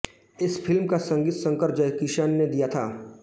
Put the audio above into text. इस फ़िल्म का संगीत शंकर जयकिशन ने दिया था